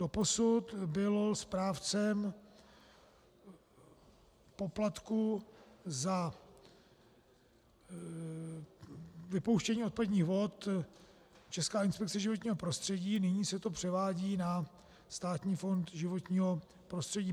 Doposud byla správcem poplatku za vypouštění odpadních vod Česká inspekce životního prostředí, nyní se to převádí na Státní fond životního prostředí.